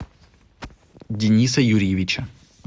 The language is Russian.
дениса юрьевича